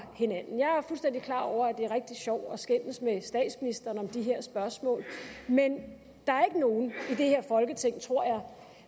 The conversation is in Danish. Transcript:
hinanden jeg er fuldstændig klar over at det er rigtig sjovt at skændes med statsministeren om de her spørgsmål men der er ikke nogen i det her folketing tror jeg